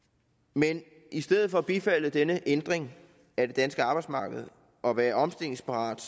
men i stedet for at bifalde denne ændring af det danske arbejdsmarked og være omstillingsparat